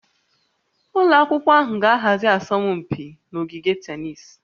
Ụlọ akwụkwọ ahụ ga-ahazi asọmpi na ogige tennis